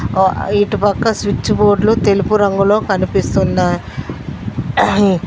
ఓ ఇటుపక్క స్విచ్ బోర్డ్లు తెలుపు రంగులో కనిపిస్తుందా యీ